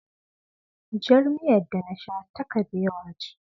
Jar miyar da na sha ta kabewa ce.